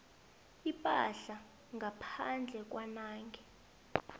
ipahla ngaphandle kwanange